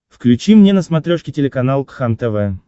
включи мне на смотрешке телеканал кхлм тв